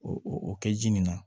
O o kɛ ji min na